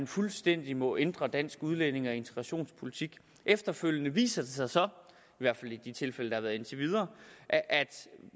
fuldstændig må ændre dansk udlændinge og integrationspolitik efterfølgende viser det sig så i hvert fald i de tilfælde der har været indtil videre at at